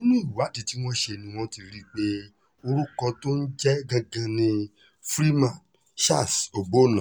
nínú ìwádìí tí wọ́n ṣe ni wọ́n ti rí i pé orúkọ tó ń jẹ́ gangan ni freeman charles ọgbọ́nna